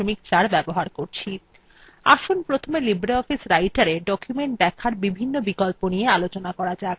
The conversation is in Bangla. আসুন প্রথমে libreoffice writerএ ডকুমেন্ট দেখার বিভিন্ন বিকল্প নিয়ে আলোচনা করা যাক